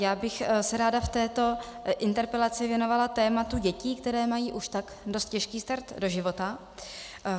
Já bych se ráda v této interpelaci věnovala tématu dětí, které mají už tak dost těžký start do života.